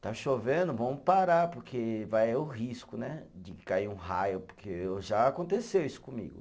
Está chovendo, vamos parar, porque vai é o risco né, de cair um raio, porque já aconteceu isso comigo.